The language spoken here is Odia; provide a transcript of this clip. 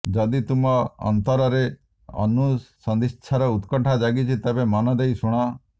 ଯଦି ତୁମ ଅନ୍ତରରେ ଅନୁସନ୍ଧିତ୍ସାର ଉତ୍କଣ୍ଠା ଜାଗିଛି ତେବେ ମନ ଦେଇ ଶୁଣ